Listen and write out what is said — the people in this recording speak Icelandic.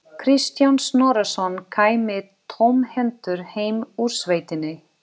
Kristján Snorrason kæmi tómhentur heim úr sveitinni.